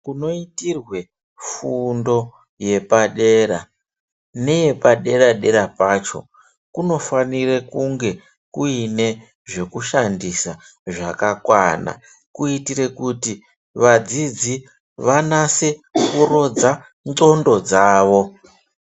Munoitirwa fundo yepadera neye padera dera pacho kunofanira kunge kuine zvekushandisa zvakakwana kuitira kuti vadzidzi vanase kuronza ngonxo dzawo.